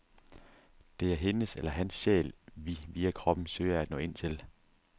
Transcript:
Det er hendes eller hans sjæl, vi via kroppen søger at nå ind til.